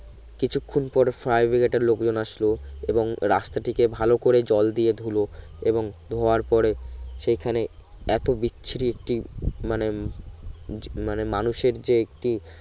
কিছুক্ষন পর fire brigade এর লোকজন আসলো এবং রাস্তা টিকে ভালো করে জল দিয়ে ধুলো এবং ধোয়ার পরে সেখানে এত বিচ্ছিরি একটি মানে জি মানে মানুষের যে একটি